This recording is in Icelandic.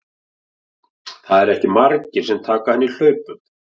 Það eru ekki margir sem taka hann í hlaupum.